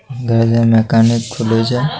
গাড়ির মেকানিক খুলে যায়--